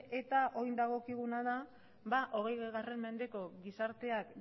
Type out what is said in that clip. eta orain dagokiguna da hogei mendeko gizarteak